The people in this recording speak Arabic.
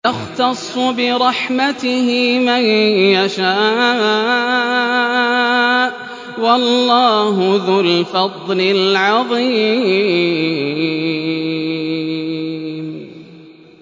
يَخْتَصُّ بِرَحْمَتِهِ مَن يَشَاءُ ۗ وَاللَّهُ ذُو الْفَضْلِ الْعَظِيمِ